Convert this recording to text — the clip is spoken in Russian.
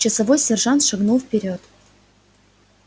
часовой сержант шагнул вперёд